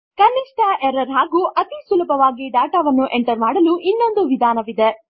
ಕನಿಷ್ಠ ಎರರ್ಸ್ ಹಾಗು ಅತಿ ಸುಲಭವಾಗಿ ಡಾಟಾ ಎಂಟರ್ ಮಾಡಲು ಇನ್ನೊಂದು ವಿಧಾನ ವಿದೆ